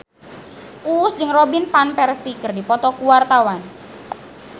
Uus jeung Robin Van Persie keur dipoto ku wartawan